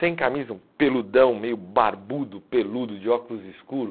Sem camisa, um peludão, meio barbudo, peludo, de óculos escuro.